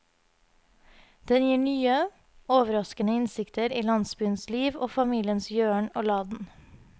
Den gir nye, overraskende innsikter i landsbyens liv og familiens gjøren og laden.